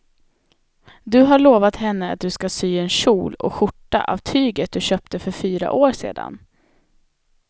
Du har lovat henne att du ska sy en kjol och skjorta av tyget du köpte för fyra år sedan.